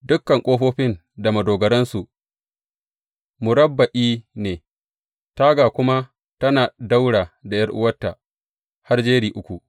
Dukan ƙofofin da madogaransu murabba’i ne, taga kuma tana ɗaura da ’yar’uwarta har jeri uku.